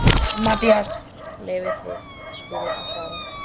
MATTHÍAS: Leyfið þið Skúla að svara.